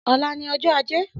Ọlà ni ọjọ àjé